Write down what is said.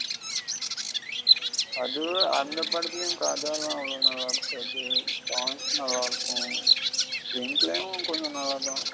அதுவு அந்த படத்துலயும் கத எல்லாம் அவவ்வளோநல்ல இருக்காது songs நல்ல இருக்கும் end லயும் கொஞ்சம் நல்லதா இருக்கும்.